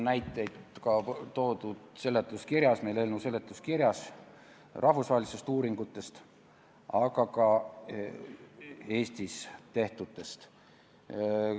Eelnõu seletuskirjas on toodud näiteid rahvusvaheliste uuringute, aga ka Eestis tehtud uuringute kohta.